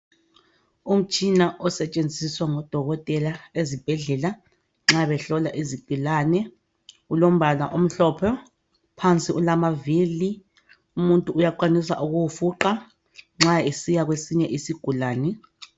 umtshina osetshenziswa ngabodokotela ezibhedlela nxa behlola izigulane ulompala omhloophe phansi ulama vili umuntu uyakwanisa ukuwufuqha nxa esesiya kwesinye isigulane